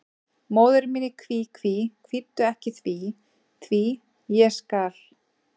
Móðir mín í kví, kví, kvíddu ekki því, því, ég skal.